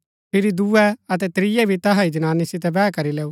फिरी दूये अतै त्रियै भी तैहा ही जनानी सितै वैह करी लैऊ